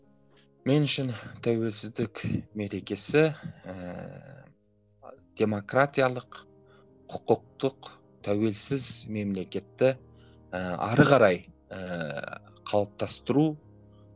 мен үшін тәуелсіздік мерекесі ііі демократиялық құқықтық тәуелсіз мемлекетті ііі ары қарай ііі қалыптастыру